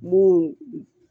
Mun